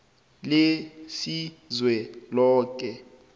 lelizweloke